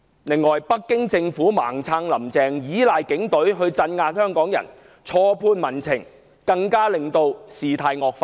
此外，北京政府"盲撐""林鄭"，倚賴警隊鎮壓香港人，錯判民情，更令事態惡化。